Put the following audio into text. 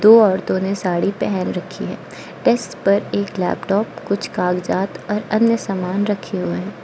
दो औरतों ने साड़ी पहन रखी है डेस्क पर एक लैपटॉप कुछ कागजात और अन्य सामान रखे हुए हैं।